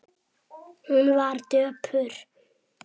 Hún var döpur.